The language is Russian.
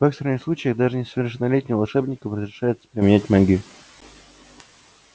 в экстренных случае даже несовершеннолетним волшебникам разрешается применять магию